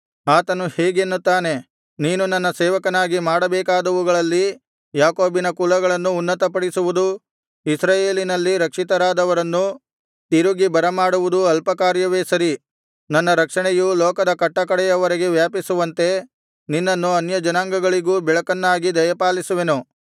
ಆತನು ಹೀಗೆನ್ನುತ್ತಾನೆ ನೀನು ನನ್ನ ಸೇವಕನಾಗಿ ಮಾಡಬೇಕಾದವುಗಳಲ್ಲಿ ಯಾಕೋಬಿನ ಕುಲಗಳನ್ನು ಉನ್ನತಪಡಿಸುವುದೂ ಇಸ್ರಾಯೇಲಿನಲ್ಲಿ ರಕ್ಷಿತರಾದವರನ್ನು ತಿರುಗಿ ಬರಮಾಡುವುದೂ ಅಲ್ಪ ಕಾರ್ಯವೇ ಸರಿ ನನ್ನ ರಕ್ಷಣೆಯು ಲೋಕದ ಕಟ್ಟಕಡೆಯವರೆಗೆ ವ್ಯಾಪಿಸುವಂತೆ ನಿನ್ನನ್ನು ಅನ್ಯಜನಾಂಗಗಳಿಗೂ ಬೆಳಕನ್ನಾಗಿ ದಯಪಾಲಿಸುವೆನು